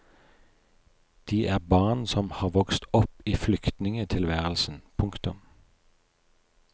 De er barn som har vokst opp i flyktningetilværelsen. punktum